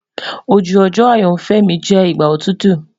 Oju ojo ayanfẹ mi jẹ igba otutu